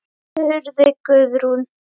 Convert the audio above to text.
spurði Guðrún.